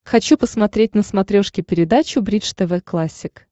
хочу посмотреть на смотрешке передачу бридж тв классик